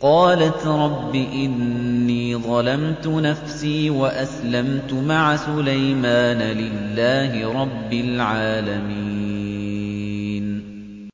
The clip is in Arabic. قَالَتْ رَبِّ إِنِّي ظَلَمْتُ نَفْسِي وَأَسْلَمْتُ مَعَ سُلَيْمَانَ لِلَّهِ رَبِّ الْعَالَمِينَ